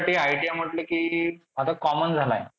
ते ITI म्हंटल कि आता common झालाय.